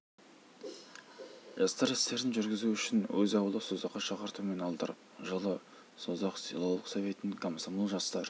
жастар істерін жүргізу үшін өз ауылы созаққа шақыртумен алдырып жылы созақ селолық советінің комсомол жастар